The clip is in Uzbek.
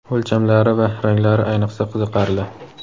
o‘lchamlari va ranglari ayniqsa qiziqarli.